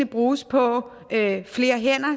bruges på flere hænder